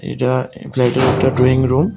এটা একে একটা একটা ড্রয়িং রুম ।